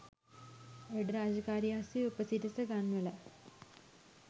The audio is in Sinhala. වැඩ රාජකාරි අස්සේ උපසිරස ගන්වලා